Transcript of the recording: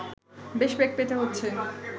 বেশ বেগ পেতে হচ্ছে